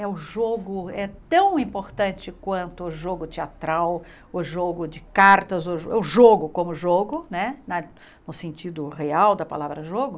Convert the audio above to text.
É o jogo, é tão importante quanto o jogo teatral, o jogo de cartas, o jo o jogo como jogo né, no sentido real da palavra jogo.